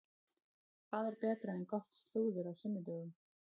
Hvað er betra en gott slúður á sunnudögum?